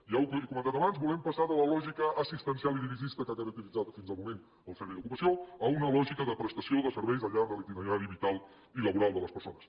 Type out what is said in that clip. ja ho he comentat abans volem passar de la lògica assistencial i dirigista que ha caracteritzat fins al moment el servei d’ocupació a una lògica de prestació de serveis al llarg de l’itinerari vital i laboral de les persones